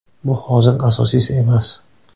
Bu hozir asosiysi emas.